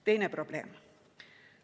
Teine probleem.